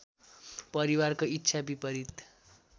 परिवारको इच्छा विपरीत